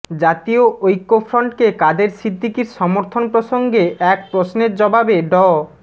জাতীয় ঐক্যফ্রন্টকে কাদের সিদ্দিকীর সমর্থন প্রসঙ্গে এক প্রশ্নের জবাবে ড